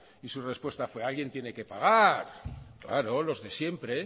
y su respuesta fue alguien tiene que pagar claro los de siempre